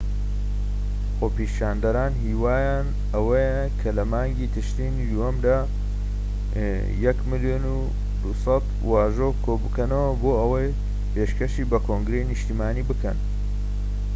خۆپیشاندەران هیوایان ئەوەیە کە لە مانگی تشرینی دووەمدا 1.2 ملیۆن واژۆ کۆبکەنەوە بۆ ئەوەی پێشکەشی بە کۆنگرەی نیشتیمانی بکەن‎